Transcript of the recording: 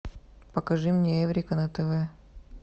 покажи мне эврика на тв